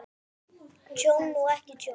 Tjón og ekki tjón?